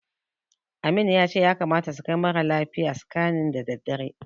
Amin ya ce ya kamata su kai mara lafiyar scanning da daddare.